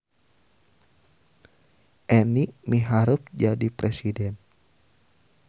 Eni miharep jadi presiden